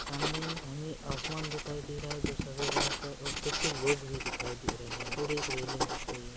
सामने हमे आसमान दिखाई दे रहा है जो सफ़ेद रंग का है और कुछ लोग भी दिखाई दे रहे है और एक रेलिंग दिख रही है।